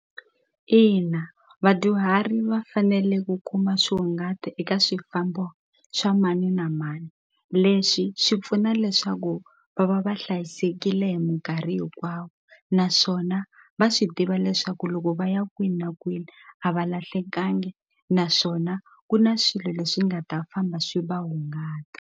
Ina vadyuhari va fanele ku kuma swihungati eka swifambo swa mani na mani leswi swi pfuna leswaku va va va hlayisekile hi minkarhi hinkwawo naswona va swi tiva leswaku loko va ya kwini na kwini a va lahlekangi naswona ku na swilo leswi nga ta famba swi va hungata.